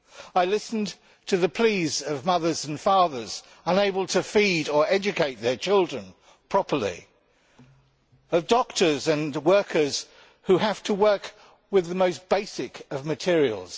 I listened to the pleas of mothers and fathers unable to feed or educate their children properly, and of doctors and workers who have to work with the most basic of materials.